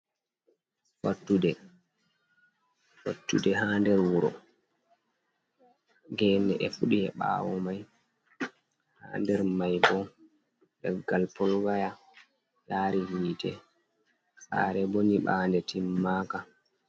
Fattude, fattude haa nder wuro, gene e fuɗi e ɓaawo mai, ha nder mai bo leggal polooya yaari hiite, Saare bo nyiɓaande timmaaka.